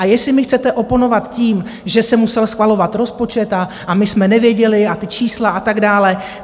A jestli mi chcete oponovat tím, že se musel schvalovat rozpočet a my jsme nevěděli a ta čísla a tak dále...